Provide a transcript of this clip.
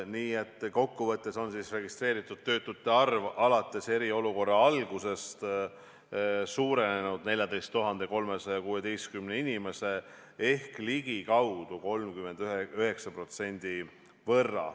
Nii et kokku võttes on registreeritud töötute arv alates eriolukorra algusest suurenenud 14 316 inimese võrra ehk ligikaudu 39%.